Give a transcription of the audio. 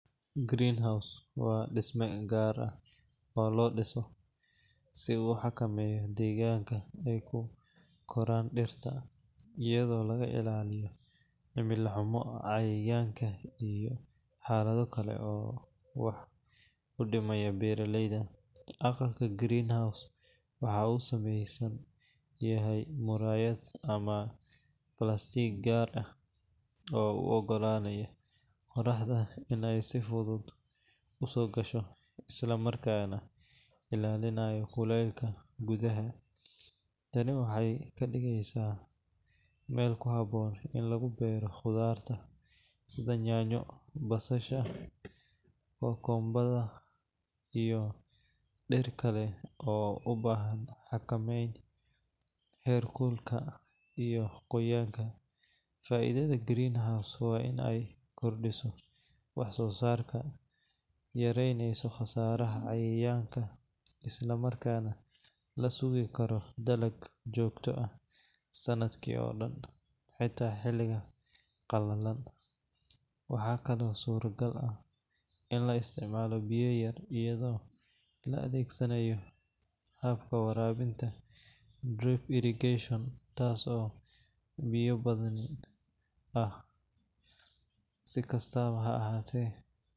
Greenhouse waa dhisme gaar ah oo loo dhiso si uu u xakameeyo deegaanka ay ku koraan dhirta, iyadoo laga ilaaliyo cimilo xumo, cayayaanka, iyo xaalado kale oo wax u dhimaya beeralayda. Aqalka greenhouse waxa uu ka samaysan yahay muraayad ama balaastiig gaar ah oo u oggolaanaya qoraxdu in ay si fudud u soo gasho, isla markaana ilaalinaya kulaylka gudaha. Tani waxay ka dhigaysaa meel ku habboon in lagu beero khudaarta sida yaanyo, basasha, kookombarada, iyo dhir kale oo u baahan xakameynta heerkulka iyo qoyaanka. Faa’iidada greenhouse waa in ay kordhiso wax-soosaarka, yarayso khasaaraha cayayaanka, isla markaana la sugi karo dalag joogto ah sanadka oo dhan, xitaa xilliyada qalalan. Waxaa kaloo suuragal ah in la isticmaalo biyo yar iyadoo la adeegsanayo habka waraabka drip irrigation, taas oo biyo-badbaadin ah. Si kastaba ha ahaatee.